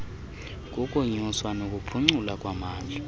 kukunyuswa nokuphuculwa kwamandla